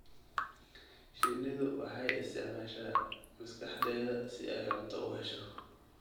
Shinnidu waxay isticmaashaa maskaxdeeda si ay cunto u hesho.